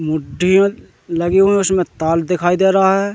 मुठियल लगी हुई हैं उसमें ताल दिखाई दे रहा है।